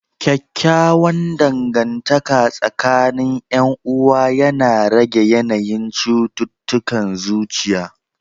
Kyakkyawan dangantaka tsakanin 'yan uwa yana rage yanayin cututtukan zuciya.